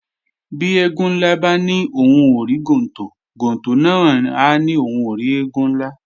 Bí eégún ńlá bá ní òhun ò rí gontò, gontò náà á ní òhun ò rí eégún ńlá